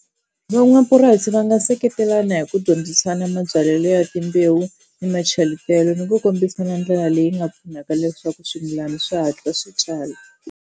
Van'wamapurasi va nga seketelana hi ku dyondzisana mabyalelo ya timbewu ni macheletelo ni ku kombisana ndlela leyi nga pfunaka leswaku swimilana swi hatla swi tswala.